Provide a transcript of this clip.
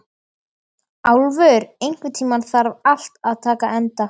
Álfur, einhvern tímann þarf allt að taka enda.